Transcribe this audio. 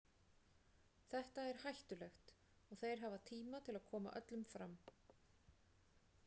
Þetta er hættulegt og þeir hafa tíma til að koma öllum fram.